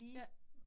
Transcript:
Ja